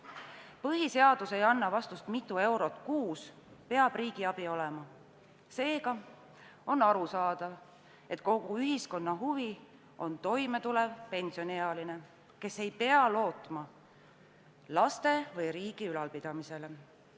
Põhiseadus ei anna vastust sellele, mitu eurot kuus peab riigi abi suurus olema, seega on arusaadav, et kogu ühiskonna huvides on toimetulev pensioniealine, kes ei peaks lootma laste või riigi ülalpidamisele.